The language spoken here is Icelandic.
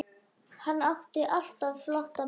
Hann átti alltaf flotta bíla.